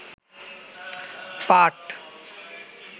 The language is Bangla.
পাট